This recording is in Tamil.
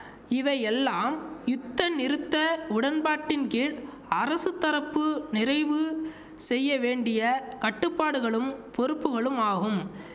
இவையெல்லாம் யுத்தநிறுத்த உடன்பாட்டின் கீழ் அரசு தரப்பு நிறைவு செய்ய வேண்டிய கட்டுப்பாடுகளும் பொறுப்புகளும் ஆகும்